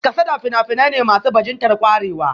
Kasada fina-finai ne masu bajintar kwarewa